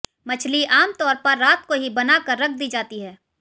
मछली आम तौर पर रात को ही बना कर रख दी जाती है